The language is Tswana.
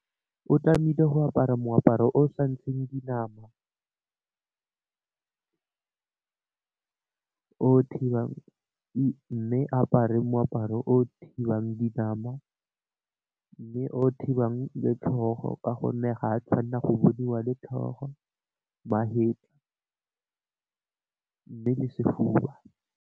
O tlamehile go apara moaparo o sa nthseng dinama o thibang, mme apare moaparo o thibang di nama, mme o thibang le tlhogo ka gonne ga a tshwanela go boniwa le tlhogo ba head mme le sefuba.